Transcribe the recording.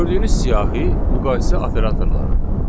Gördüyünüz siyahı müqayisə operatorlarıdır.